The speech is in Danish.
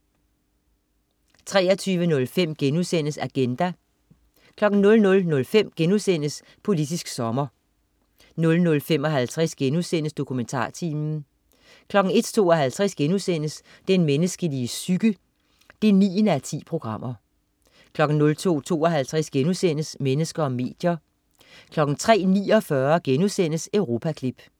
23.05 Agenda* 00.05 Politisk sommer* 00.55 DokumentarTimen* 01.52 Den menneskelige psyke 9:10* 02.52 Mennesker og medier* 03.49 Europaklip*